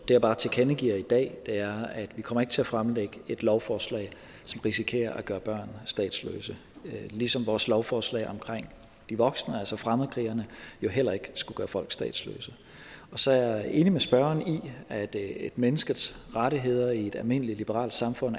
jeg bare tilkendegiver i dag er at vi ikke kommer til at fremsætte et lovforslag som risikerer at gøre børn statsløse ligesom vores lovforslag omkring de voksne altså fremmedkrigerne jo heller ikke skulle gøre folk statsløse og så er jeg enig med spørgeren i at et menneskes rettigheder i et almindeligt liberalt samfund